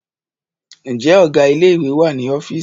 Ǹjẹ́ Ọ̀gá ilé ìwé wà ní ọ́fíìsì?